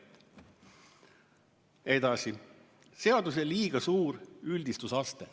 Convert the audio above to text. Edasi seadusel on liiga suur üldistusaste.